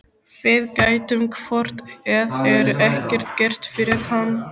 Við gætum hvort eð er ekkert gert fyrir hann.